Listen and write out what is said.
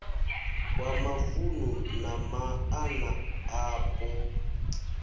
wa mavunu na maana apo